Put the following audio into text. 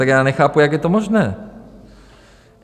Tak já nechápu, jak je to možné.